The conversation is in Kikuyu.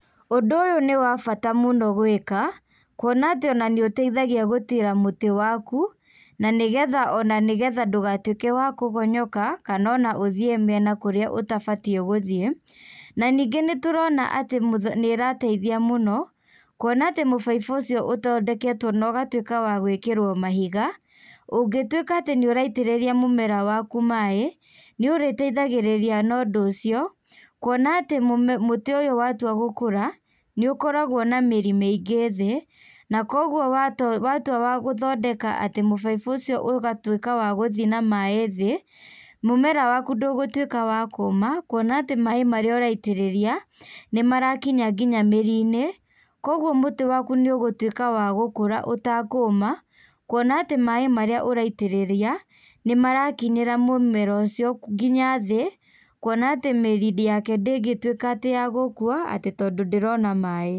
Ũndũ ũyũ nĩ wa bata mũno gwĩka, kuona atĩ nĩũteithagia gũtira mũtĩ waku, na nĩgetha o na nĩgetha ndũgatuĩke wa kũgonyoka, kana o na ũthiĩ mĩena kũrĩa ũtabatiĩ gũthiĩ, na nĩngĩ nĩtũrona atĩ nĩĩrateithia mũno, kũona atĩ mũbaibũ ũcio ũthondeketwo na ũgatuĩka wa gwĩkĩrwo mahiga, ũngĩtuĩka atĩ nĩũraitĩrĩria mũmera waku maĩ, nĩũrĩteithagĩrĩria na ũndũ ũcio kuona atĩ mũtĩ ũyũ watua gũkũra nĩũkoragwo na mĩri mĩingĩ thĩ na kogwo watua wagũthondeka mũbaibũ ũcio ũgatuĩka wa gũthiĩ na mai thĩ, mũmera waku ndũgũtuĩka wa kũma, kuona atĩ maĩ marĩa ũraitĩrĩria, nĩmarakinya nginya mĩri-inĩ kogwo mũtĩ waku nĩũgũtũĩka wa gũkura ũtakũma kuona atĩ maĩ marĩa ũraitĩrĩria nĩmarakinyĩra mũmera ũcio nginya thĩ kuona atĩ mĩri yake ndĩngĩtuĩka atĩ ya gũkua tondũ ndĩrona maĩ.